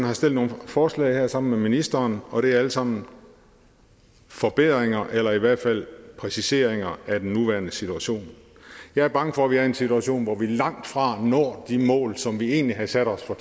har sendt nogle forslag her sammen med ministeren og det er alle sammen forbedringer eller i hvert fald præciseringer af den nuværende situation jeg er bange for at vi er i en situation hvor vi langt fra når de mål som vi egentlig havde sat os for